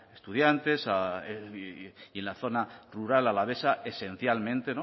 estudiantes y en la zona rural alavesa esencialmente